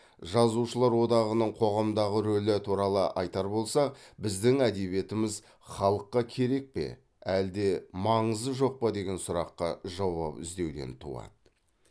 жазушылар одағының қоғамдағы рөлі туралы айтар болсақ біздің әдебиетіміз халыққа керек пе әлде маңызы жоқ па деген сұраққа жауап іздеуден туады